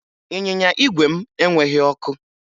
Ịnyịnya igwe m enweghi ọkụ